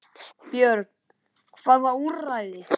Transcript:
Björn: Hvaða úrræði?